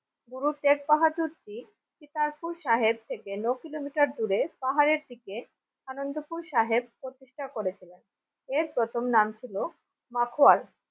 গুরু শেখ বাহাদুর জি শিকারপুর সাহেব থেকে ন কিলোমিটার দূরে পাহাড়ের দিকে আনন্দপুর সাহেব প্রতিষ্ঠা করেছিলেন এর প্রথম নাম ছিল মাখোয়ার